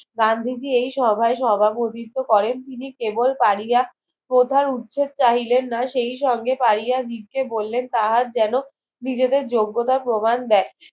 গান্ধীজি এই সভায় সভাপতিত্ব করেন তিনি কেবল পারিয়া প্রধান উচিত চাহিলেন না সেই সঙ্গে পারিয়া নিতে বললেন কাহার যেন নিজেদের যোগ্যতা প্রমান দেয়